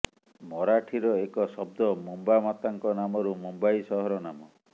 ମରାଠିର ଏକ ଶବ୍ଦ ମୁମ୍ବା ମାତାଙ୍କ ନାମରୁ ମୁମ୍ବାଇ ସହର ନାମ